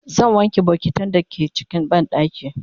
zan wanke bokitan da ke cikin banɗakin